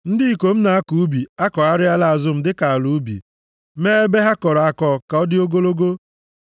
Ndị ikom na-akọ ubi akọgharịala azụ m dịka ala ubi, mee ebe ha kọrọ akọ ka ọ dị ogologo.